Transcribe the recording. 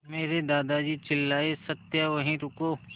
मेरे दादाजी चिल्लाए सत्या वहीं रुको